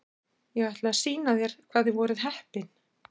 Ég ætla að sýna þér hvað þið voruð heppin.